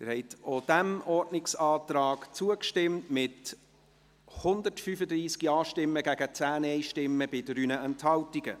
Sie haben auch diesem Ordnungsantrag zugestimmt, mit 135 Ja- gegen 10 Nein-Stimmen bei 3 Enthaltungen.